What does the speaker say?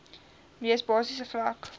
mees basiese vlak